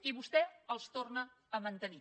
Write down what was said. i vostè els torna a mantenir